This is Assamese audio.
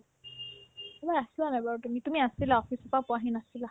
তুমি আছিলানে বাৰু তুমি তুমি আছিলা office ৰ পৰা পোৱাহি নাছিলা